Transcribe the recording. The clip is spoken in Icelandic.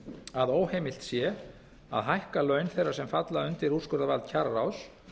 að óheimilt sé að hækka laun þeirra sem falla undir úrskurðarvald kjararáðs